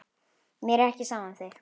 Mér er ekki sama um þig.